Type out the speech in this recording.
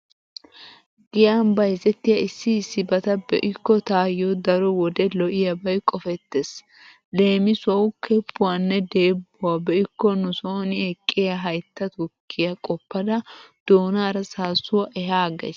Giyan bayzettiya issi issibata be'ikko taayyo daro wode lo'iyabay qofettees. Leemisuwawu keppuwanne deebbuwa be'ikko nu sooni eqqiya haytta tukkiya qoppada doonaara saassuwa ehaaggays.